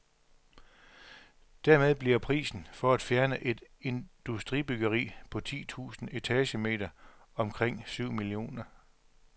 Dermed bliver prisen for at fjerne et industribyggeri på ti tusind etagemeter omkring syv millioner kroner.